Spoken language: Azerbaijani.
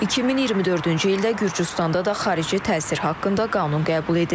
2024-cü ildə Gürcüstanda da xarici təsir haqqında qanun qəbul edilib.